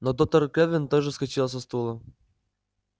но доктор кэлвин тоже вскочила со стула